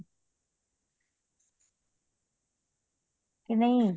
ਕੇ ਨਹੀਂ